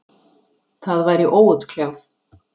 Það væri óútkljáð.